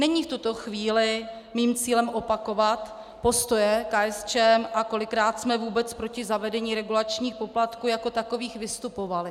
Není v tuto chvíli mým cílem opakovat postoje KSČM a kolikrát jsme vůbec proti zavedení regulačních poplatků jako takových vystupovali.